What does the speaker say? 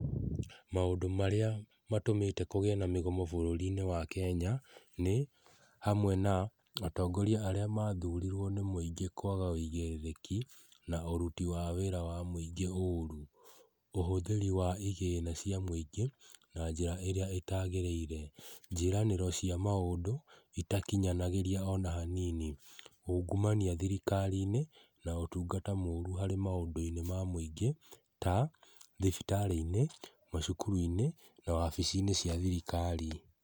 Maũndũ marĩa matũmĩte kũgĩe na mĩgomo bũrũri-inĩ wa Kenya nĩ hamwe na atongoria aria mathurirwo nĩ mũingĩ kwaga ũigĩrĩrĩki na ũruti wa wĩra wa mũingĩ ũũru, ũhũthĩri wa igĩna cia mũingĩ na njĩra ĩrĩa ĩtagĩrĩire, njiĩranĩro cia maũndũ itakinyanagĩra ona hanini, ũngũmania thirikari-inĩ na ũtungata mũru harĩ maũndũ-inĩ ma mũingĩ ta mathibitarĩ-inĩ, macukuru-inĩ na wabici-inĩ cia thirikari.